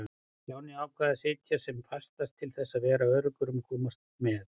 Stjáni ákvað að sitja sem fastast til þess að vera öruggur um að komast með.